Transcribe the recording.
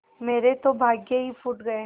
मेरे तो भाग्य ही फूट गये